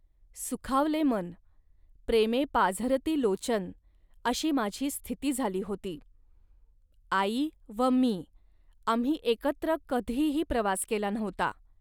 .सुखावले मन.प्रेमे पाझरती लोचन..अशी माझी स्थिती झाली होती. आई व मी, आम्ही एकत्र कधीही प्रवास केला नव्हता